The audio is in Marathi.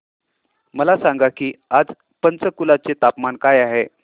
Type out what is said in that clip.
मला सांगा की आज पंचकुला चे तापमान काय आहे